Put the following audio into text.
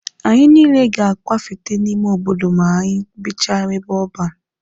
Anyị niile ga-akwafete n'ime obodo ma anyị bichaa n'ebe ọban.